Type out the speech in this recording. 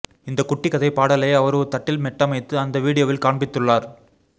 இந்த குட்டி கதை பாடலை அவர் ஒரு தட்டில் மெட்டமைத்து அந்த வீடியோவில் காண்பித்துள்ளார்